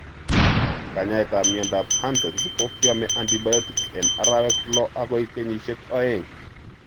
Knayetap miondap Hansen's ko kyome antibiotics en arawek loo agoi kenyisiek oeng.'